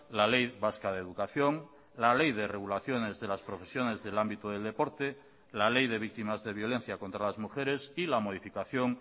la ley vasca de educación la ley de regulaciones de las profesiones del ámbito del deporte la ley de víctimas de violencia contra las mujeres y la modificación